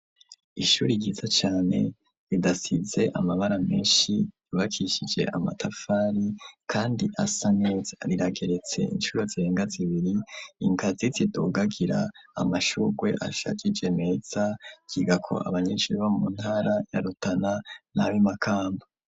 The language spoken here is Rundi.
Ishuri ryiza cane ridasize amabara menshi yubakishije amatafari kandi asa neza rirageretse incuro zirenga zibiri ingazi zidugagira, amashurwe ashajije meza ryigako abanyeshuri bo mu ntara ya Rutana n'ab'Imakamba.